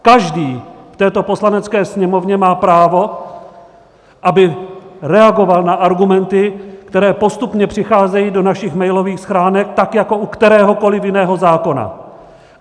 Každý v této Poslanecké sněmovně má právo, aby reagoval na argumenty, které postupně přicházejí do našich mailových schránek, tak jako u kteréhokoli jiného zákona.